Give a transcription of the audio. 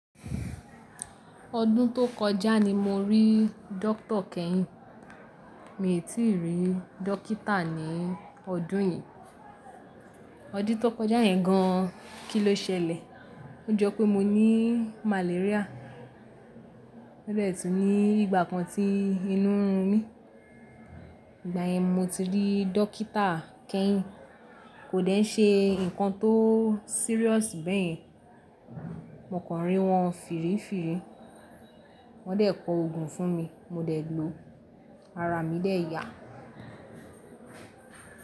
Ọdún tó kọjá ni mo rí dókítà kẹ́yìn. Mi ò tí ì rí dókítà ní ọdún yíì. Ọdún tó kọjá yẹn gan, kí ló ṣẹlẹ̀? Ó jọ pé mo ní malaria. Ó dẹ̀ tú ní ìgbà kan tí inú ń run mí. Ìgbà yẹn mo ti rí dókítà kẹ́yìn. Kò dẹ̀ n ṣe ǹkan tó serious bẹ́yẹn. Mo kàn rí wọn fìrìfìrì. Wọ́n dẹ̀ kọ ogun fún mi, mo dẹ̀ ló. Ara mi dẹ̀ yà.